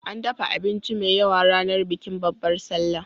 An dafa abinci mai yawa ranar bikin Babbar Sallah